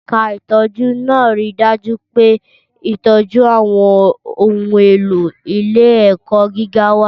Ẹ̀ka ìtọ́jú náà ń rí i dájú pé ìtọ́jú àwọn ohun èlò ilé-ẹ̀kọ́ gíga wà.